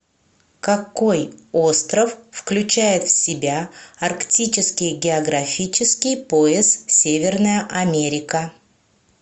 какой остров включает в себя арктический географический пояс северная америка